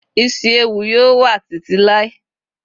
isi ẹwù yíò wá ti ti Lai